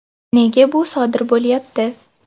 Nega bu sodir bo‘lyapti?